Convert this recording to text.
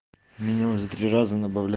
меня уже три раза набавля